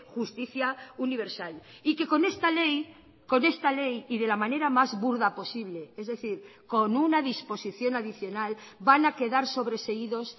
justicia universal y que con esta ley con esta ley y de la manera más burda posible es decir con una disposición adicional van a quedar sobreseídos